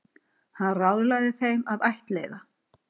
Hann ráðlagði þeim að ættleiða.